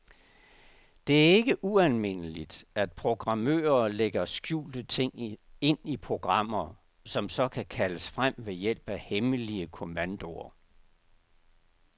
Det er ikke ualmindeligt, at programmører lægger skjulte ting ind i programmer, som så kan kaldes frem ved hjælp af hemmelige kommandoer.